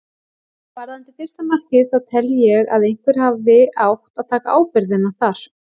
Varðandi fyrsta markið þá tel ég að einhver hafi átt að taka ábyrgðina þar.